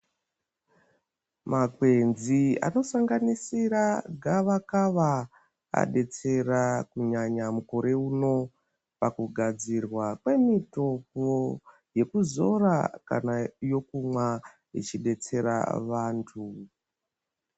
Makwenzi anosanganisira gavakava abetsera kunyanya mukore uno pakugadzirwa kwemitombo yekuzora kana yokumwa ichibetsera vantu.